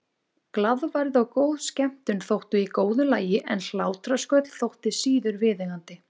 Glaðværð og góð skemmtun þóttu í góðu lagi en hlátrasköll þóttu síður viðeigandi.